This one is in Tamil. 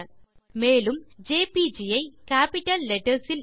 | |352 |மேலும் ஜேபிஜி ஐ கேப்பிட்டல் லெட்டர்ஸ் இல் எழுதியும் காண்க